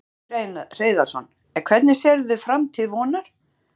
Magnús Hlynur Hreiðarsson: En hvernig sérðu framtíð Vonar?